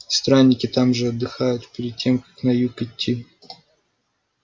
странники там же отдыхают перед тем как на юг идти